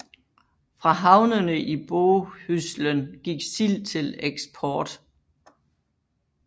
Fra havnene i Bohuslen gik sild til eksport